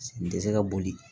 N tɛ se ka boli